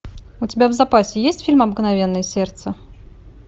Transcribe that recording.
у тебя в запасе есть фильм обыкновенное сердце